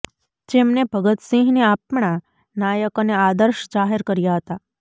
જેમને ભગત સિંહને આપણા નાયક અને આદર્શ જાહેર કર્યા હતા